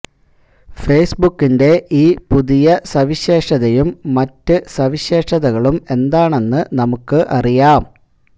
ഫേസ്ബുക്കിന്റെ ഈ പുതിയ സവിശേഷതയും മറ്റു സവിശേഷതകളും എന്താണെന്ന് നമുക്ക് അറിയാം